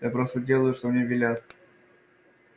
я просто делаю что мне велят